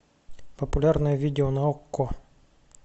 популярное видео на окко